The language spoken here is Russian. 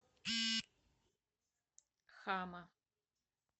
хама